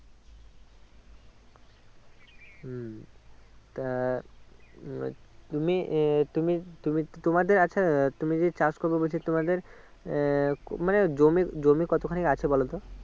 উম তা আহ তুমি এ তুমি তুমি তোমাদের আছে তুমি যে চাষ করবো বলছো তোমাদের আহ মানে জমি জমি কত খানি আছে বলতো